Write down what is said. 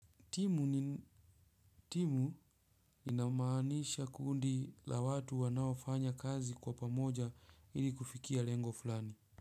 Timu inamaanisha kundi la watu wanaofanya kazi kwa pamoja ili kufikia lengo fulani.